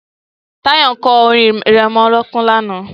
Tayo sang a lullyby yesterda